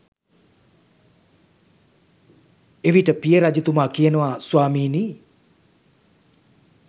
එවිට පිය රජතුමා කියනවා ස්වාමිනි